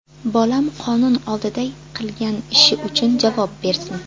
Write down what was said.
Bolam qonun oldida qilgan ishi uchun javob bersin.